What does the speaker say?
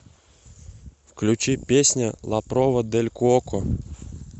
включи песня ла прова дель куоко